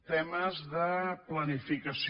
temes de planificació